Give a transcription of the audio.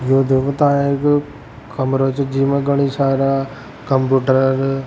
यो देखो ता एक कमरा छ जी म घनी सारा कंप्यूटर --